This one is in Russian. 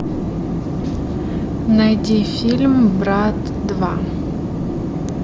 найди фильм брат два